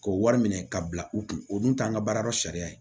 K'o wari minɛ ka bila u kun o dun t'an ka baara dɔ sariya ye